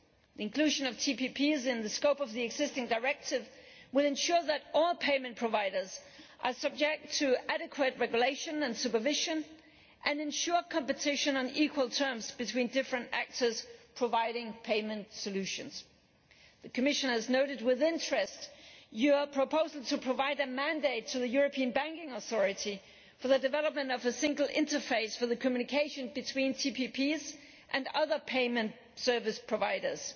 The inclusion of TPPs in the scope of the existing directive will ensure that all payment providers are subject to adequate regulation and supervision and ensure competition on equal terms between different actors providing payment solutions. The Commission has noted with interest your proposal to provide a mandate to the European Banking Authority for the development of a single interface for the communication between TPPs and other payment service providers.